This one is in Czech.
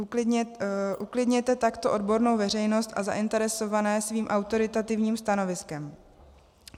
Uklidněte takto odbornou veřejnost a zainteresované svým autoritativním stanoviskem.